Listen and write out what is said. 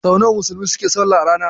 Sau nawa Musulmai suke salla a rana.